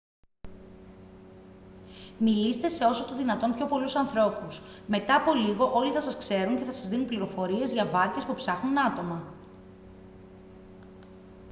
μιλήστε σε όσο το δυνατόν πιο πολλούς ανθρώπους μετά από λίγο όλοι θα σας ξέρουν και θα σας δίνουν πληροφορίες για βάρκες που ψάχνουν άτομα